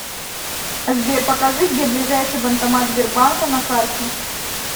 сбер покажи где ближайший банкомат сбербанка на карте